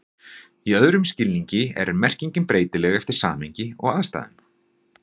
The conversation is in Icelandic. Í öðrum skilningi er merkingin breytileg eftir samhengi og aðstæðum.